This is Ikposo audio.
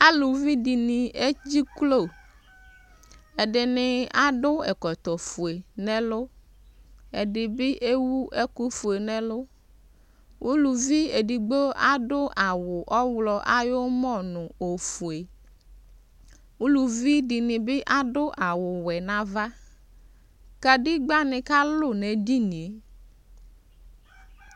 Aluvi dɩnɩ edziklo Ɛdɩnɩ adʋ ɛkɔtɔfue nʋ ɛlʋ Ɛdɩ bɩ ewu ɛkʋfue nʋ ɛlʋ Uluvi edigbo adʋ awʋ ayʋ ɔɣlɔ ɔmɔ nʋ ofue Uluvi dɩnɩ bɩ adʋ awʋwɛ nʋ ava Kedegbǝnɩ kalʋ nʋ edini yɛ